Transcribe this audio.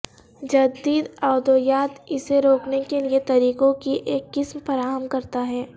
جدید ادویات اسے روکنے کے لئے طریقوں کی ایک قسم فراہم کرتا ہے